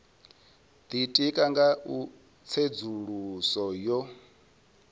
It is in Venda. ditika nga u tsedzuluso yo